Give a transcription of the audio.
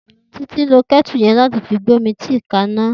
Titi n ló kètú yèn làtí fi gbómi tìí kàná